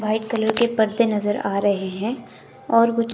white colour के पत्ते नजर आ रहे हैं और कुछ--